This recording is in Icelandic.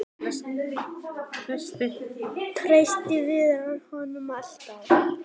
Treysti Viðar honum alltaf?